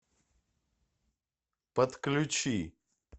подключи